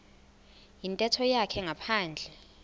yintetho yakhe ngaphandle